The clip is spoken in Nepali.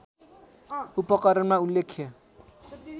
उपकरणमा उल्लेख्य